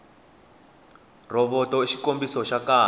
rhovoto i xikombisa xa kahle